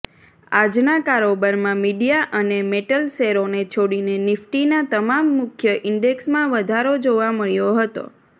આજના કારોબારમાં મીડિયા અને મેટલ શેરોને છોડીને નિફ્ટીના તમામ મુખ્ય ઈન્ડેક્સમાં વધારો જોવા મળ્યો હતો